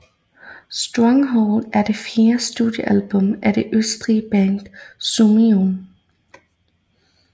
Stronghold er det fjerde studiealbum af det østrigske band Summoning